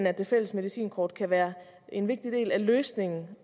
at det fælles medicinkort kan være en vigtig del af løsningen